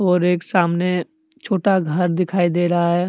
और एक सामने छोटा घर दिखाई दे रहा है।